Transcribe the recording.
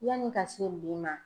Yanni ka se bi ma